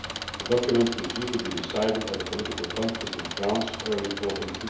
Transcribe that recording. The document is due to be decided at a political conference in France in early autumn